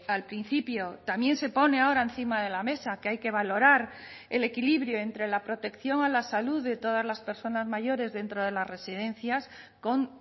al principio también se pone ahora encima de la mesa que hay que valorar el equilibrio entre la protección a la salud de todas las personas mayores dentro de las residencias con